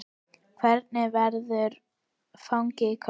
Hvernig verður fagnað í kvöld?